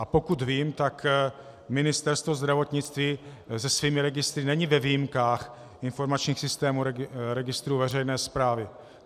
A pokud vím, tak Ministerstvo zdravotnictví se svými registry není ve výjimkách informačních systémů registru veřejné správy.